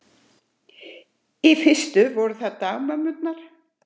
Í fyrstu voru það dagmömmurnar.